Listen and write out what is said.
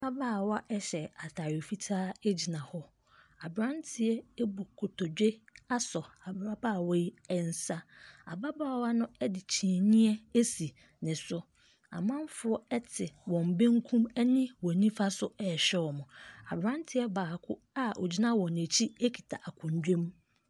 Ababaawa hyɛ atadeɛ fitaa gyina hɔ. Aberanteɛ abu nkotodwe asɔ ababaawa yi nso. Ababaawa no de kyiniiɛ ase ne so. Amanfoɔn te wɔn benkum ne wɔn nifa so rehwɛ wɔn. Aberanteɛ baako a ɔgyina wɔn akyi kita akonnwa mu.